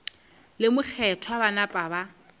le mokgethwa ba napa ba